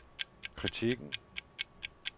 kritikken